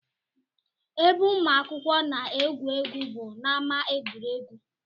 Ebe ụmụ akwụkwọ na-egwu egwu bụ n'ámá egwuregwu